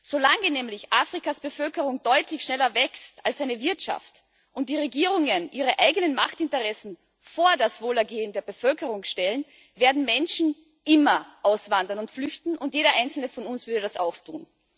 Solange nämlich Afrikas Bevölkerung deutlich schneller wächst als seine Wirtschaft und die Regierungen ihre eigenen Machtinteressen vor das Wohlergehen der Bevölkerung stellen, werden Menschen immer auswandern und flüchten, und jeder Einzelne von uns würde das auch tun.